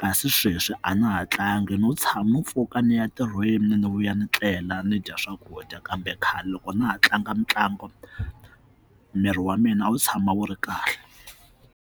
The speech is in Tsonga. kasi sweswi a na ha tlangi no tshama no pfuka ni ya ntirhweni ni vuya ni tlela ni dya swakudya kambe khale loko na ha tlanga mitlangu miri wa mina a wu tshama wu ri kahle.